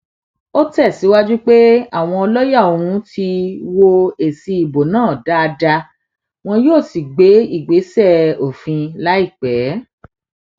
ó tẹsíwájú pé àwọn lọọyà òun ti wọ èsì ìbò náà dáadáa wọn yóò sì gbé ìgbésẹ òfin láìpẹ